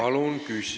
Palun küsimus!